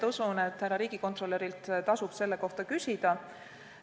Usun, et riigikontrolörilt tasub selle kohta küsida.